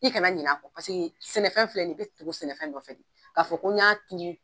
I kana ɲin'a kɔ paseke sɛnɛfɛn filɛ nin ye k'a fɔ ko n y'a turu